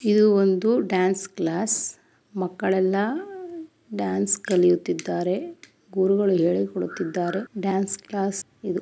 ಇದು ಒಂದು dance class ಮಕ್ಕಳೆಲ್ಲ ಡ್ಯಾನ್ಸ್ ಕಲಿಯುತ್ತಿದ್ದಾರೆ ಗುರುಗಳು ಹೇಳಿಕೊಡುತ್ತಿದ್ದಾರೆ ಡ್ಯಾನ್ಸ್ ಕ್ಲಾಸ್ ಇದು --